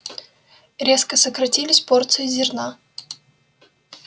резко сократились порции зерна